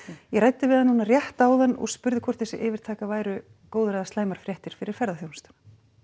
ég ræddi við hann núna rétt áðan og spurði hvort þessi yfirtaka væru góðar eða slæmar fréttir fyrir ferðaþjónustuna